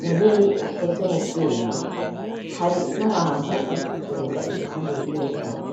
munini ukoze mu vyuma hari n'abantu bari kugenda iruhande y'iyo nyubako.